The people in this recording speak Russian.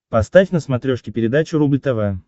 поставь на смотрешке передачу рубль тв